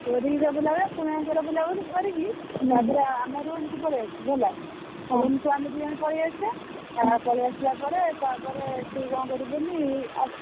ପୁରୀରେ ବୁଲାବୁଲି କୋଣାର୍କରେ ବୁଲାବୁଲି କରିକି ତାପରେ ଆମ room କୁ ପଳେଇଆସିବୁ ହେଲା। room କୁ ଆମେ ଦି ଜଣ ପଳେଇଆସିଆ। ପଳେଇ ଆସିଲା ପରେ ତାପରେ ତୁ କଣ କରିବୁ କହନି ।